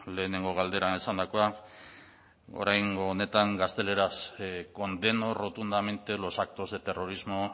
lehenengo galderan esandakoa oraingo honetan gazteleraz condeno rotundamente los actos de terrorismo